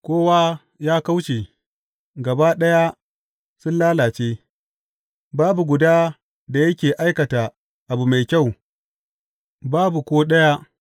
Kowa ya kauce, gaba ɗaya sun lalace; babu guda da yake aikata abu mai kyau, babu ko ɗaya.